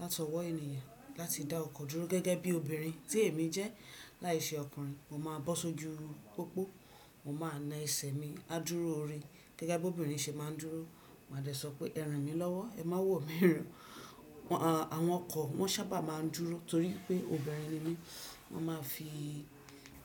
láti ọwọ́ ènìyàn láti dá ọkọ̀ dúró gẹ́gẹ́ bí obìnrin tí èmi jẹ́ láìṣe ọkùnrin, mo máa bọ́ sójú pópó, mo maa na ẹsẹ̀ mi á dúró o re, gẹ́gẹ́ bí obìnrin ṣe má ń dúró. Mà dè sọ pé: Ẹ ràn mí lọ́wọ́, ẹ má wò mí n'íran. Àwọn ọkọ̀ wọn saábà má ń dúró torí pé obìnrin ni mí. Wọ́n ma fi